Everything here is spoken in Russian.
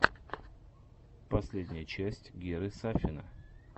последняя часть геры сафина